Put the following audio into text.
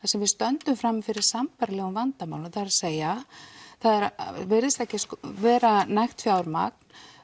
sem við stöndum frammi fyrir sambærilegum vandamálum það er að segja það virðist ekki vera nægt fjármagn